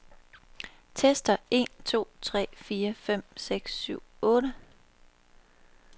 Tester en to tre fire fem seks syv otte.